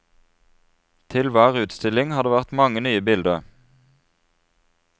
Til hver utstilling har det vært mange nye bilder.